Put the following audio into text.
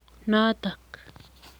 Notok